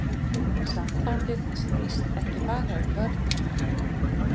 Sambandið snýst ekki bara um börnin